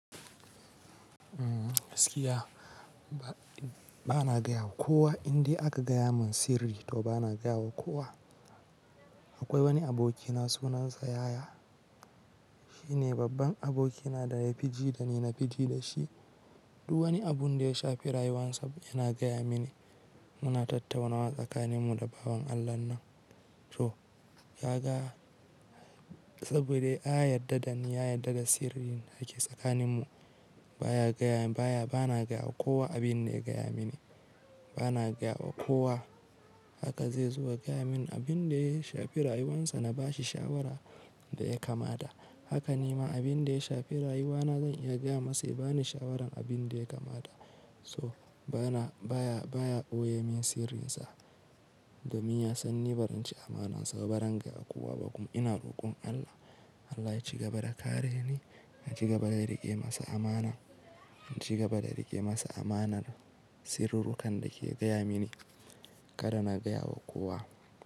Gaskiya, bana gaya wa kowa, indai aka gaya mun sirri to bana gaya wa kowa. Akwai wani abokina sunansa yaya. Shine babban abokina daya fi ji dani, nafi ji da shi. Duk wani abun da ya shafi rayuwarsa, yana gaya mini. Muna tattaunawa tsakanin mu da bawan Allahnan. To, ka ga saboda ya yarda da ni, ya yarda da sirrin dake tsakanin mu. Baya gaya baya bana gaya wa kowa abin da ya gaya mini. Bana gaya wa kowa haka zai zuba gaya mini abin da ya shafi rayuwarsa na bashi shawara, da ya kamata. Haka ni ma abin da ya shafi rayuwana zan iya gaya masa ya bani shawaran abin da ya kamata. So, bana baya, baya ɓoye min sirrinsa domin ya san ni baranci amanansa. Ba zan gaya kowa ba, kuma ina rokon Allah. Allah ya ci gaba da kare ni, ya ci gaba da riƙe masa amana, ya ci gaba da riƙe masa amanar sirurrukan da ke gaya mini. Kada na gaya wa kowa.